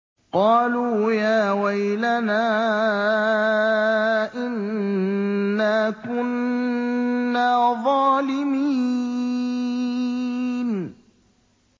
قَالُوا يَا وَيْلَنَا إِنَّا كُنَّا ظَالِمِينَ